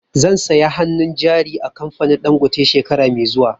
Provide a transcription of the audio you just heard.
Zan saya hannun jari a kamfanin Dangote shekara mai zuwa